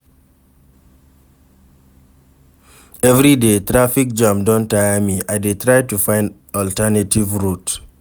Everyday traffic jam don tire me, I dey try find alternative route.